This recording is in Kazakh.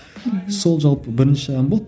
мхм сол жалпы бірінші ән болды